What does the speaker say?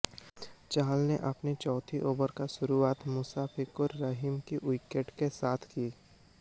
चहल ने अपने चौथे ओवर की शुरुआत मुशफिकुर रहीम के विकेट के साथ की